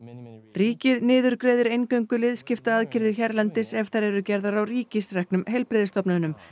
ríkið niðurgreiðir eingöngu liðskiptaaðgerðir hérlendis ef þær eru gerðar á ríkisreknum heilbrigðisstofnunum